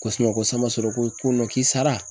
Ko ko sian b'a sɔrɔ ko k'i sara.